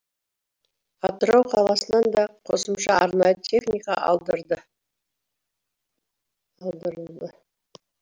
атырау қаласынан да қосымша арнайы техника алдырылды